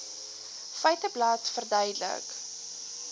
feiteblad verduidelik